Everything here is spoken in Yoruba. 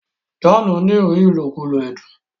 John ní rí ilokulo ẹdun.